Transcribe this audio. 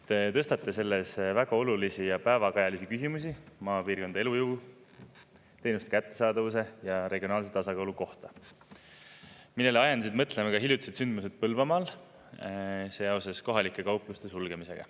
Te tõstate selles väga olulisi ja päevakajalisi küsimusi maapiirkondade elujõu, teenuste kättesaadavuse ja regionaalse tasakaalu kohta, millele ajendasid mõtlema ka hiljutised sündmused Põlvamaal seoses kohalike kaupluste sulgemisega.